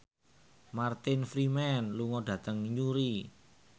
Martin Freeman lunga dhateng Newry